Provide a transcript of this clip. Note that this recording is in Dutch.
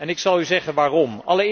Ik zal u zeggen waarom.